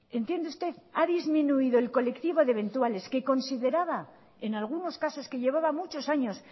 entiende usted ha disminuido el colectivo de eventuales que consideraba en algunos casos que llevaba muchos años